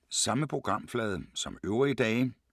Samme programflade som øvrige dage